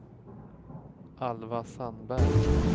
Alva Sandberg